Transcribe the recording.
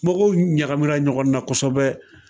Mɔgɔw ɲagamina ɲɔgɔnna kosɛbɛ